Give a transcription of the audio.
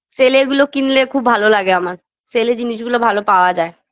sale -এ এগুলো কিনলে খুব ভালো লাগে আমার sale -এ জিনিসগুলো ভালো পাওয়া যায়